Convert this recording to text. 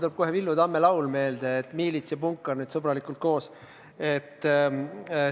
Mulle tuleb kohe Villu Tamme laul meelde, et miilits ja punkar sõbralikult koos.